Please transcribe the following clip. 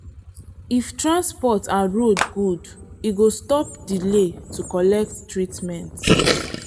if transport and road good e go stop delay to collect treatment.